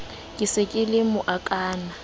ke se ke le mokaana